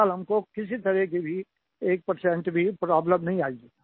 फिलहाल हमको किसी भी तरह की 1 भी प्रोब्लेम नहीं आयी